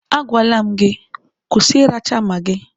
Agwala m gị, kwụsị ịracha magị!